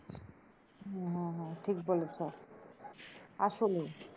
হ্যাঁ হ্যাঁ হ্যাঁ ঠিক বলেছো আসলে,